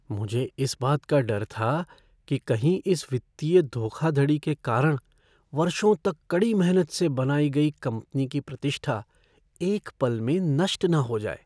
मुझे इस बात का डर था कि कहीं इस वित्तीय धोखाधड़ी के कारण वर्षों तक कड़ी मेहनत से बनाई गई कंपनी की प्रतिष्ठा एक पल में नष्ट न हो जाए।